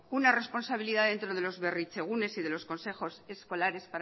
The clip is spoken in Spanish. una responsabilidad dentro de los berritzegunes y de los consejos escolares